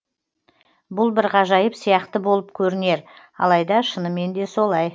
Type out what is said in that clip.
бұл бір ғажайып сияқты болып көрінер алайда шынымен де солай